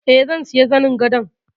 Eh, zan siya zanin gadon.